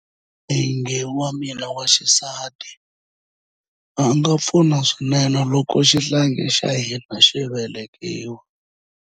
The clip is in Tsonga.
N'wingi wa mina wa xisati a pfuna swinene loko xihlangi xa hina xi velekiwa.